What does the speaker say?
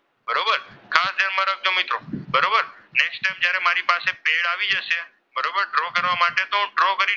તો draw કરીએ.